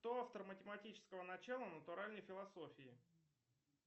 кто автор математического начала натуральной философии